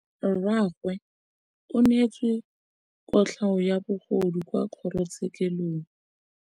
Rragwe o neetswe kotlhaô ya bogodu kwa kgoro tshêkêlông.